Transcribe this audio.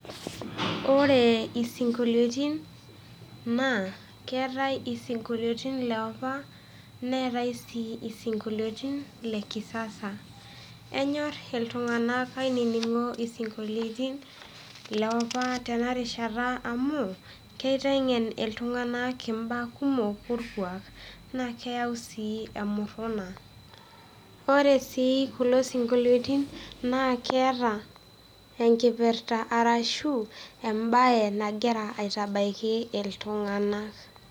Ore isinkoliotin naa keatai isinkoliotin le opa neatai sii isinkoliotin le kisasa. Enyor iltung'ana isinkoliotin le opa tenarishata, amu keiteng'en iltung'ana imbaa kumok orkuak, naake eyau sii emuruna. Kore sii kulo sinkolioitin naa keata enkipirta ashu embae nagira aitabaiki iltung'ana.